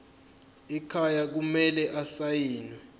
ekhaya kumele asayiniwe